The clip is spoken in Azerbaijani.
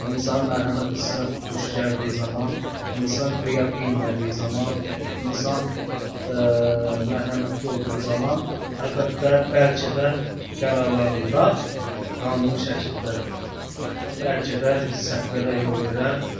İnsan mərhəmət hissinə tuş gəldiyi zaman, insan qıya bilmədiyi zaman, insan mərhəmətli olduğu zaman, əlbəttə bəlkə də qərarlarında qanuni şəkildə, bəlkə də səhvlərə yol verərlər.